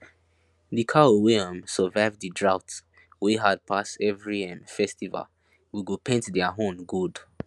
the cow wey um survive the drought wey hard pass every um festival we go paint their horn gold